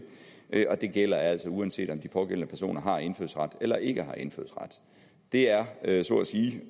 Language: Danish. og det gælder altså uanset om de pågældende personer har indfødsret eller ikke har indfødsret det er er så at sige